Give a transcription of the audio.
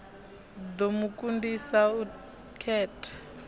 ḓo mu kundisa u khetha